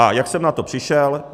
A jak jsem na to přišel?